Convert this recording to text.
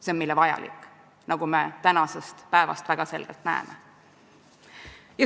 See on meile vajalik, nagu me tänasel päeval väga selgelt näeme.